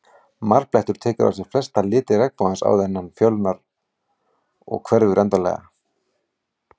Marblettur tekur á sig flesta liti regnbogans áður en hann fölnar og hverfur endanlega.